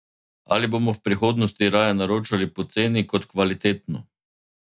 Ali bomo v prihodnosti raje naročali poceni kot kvalitetno?